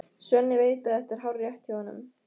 Svenni veit að þetta er hárrétt hjá honum.